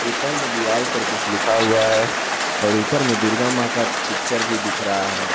ऊपर में दीवार पर कुछ लिखा हुआ है और ऊपर में दुर्गा मां का पिक्चर भी दिख रहा है।